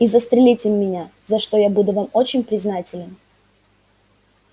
и застрелите меня за что я буду вам очень признателен